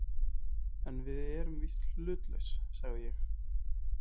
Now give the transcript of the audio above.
En við erum víst hlutlaus, sagði ég.